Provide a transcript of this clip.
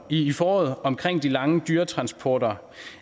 i foråret omkring de lange dyretransporter